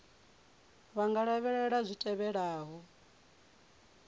vha nga lavhelela zwi tevhelaho